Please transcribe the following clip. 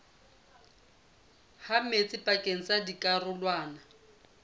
ha metsi pakeng tsa dikarolwana